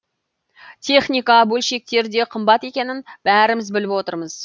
техника бөлшектер де қымбат екенін бәріміз біліп отырмыз